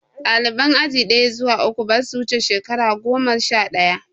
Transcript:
Ɗaliban aji ɗaya zuwa uku, ba sa wuce shekaru goma sha ɗaya.